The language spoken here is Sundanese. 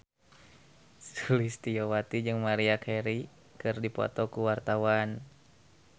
Sulistyowati jeung Maria Carey keur dipoto ku wartawan